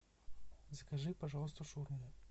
закажи пожалуйста шаурму